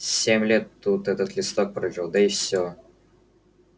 семь лет тут этот листок пролежал да и всё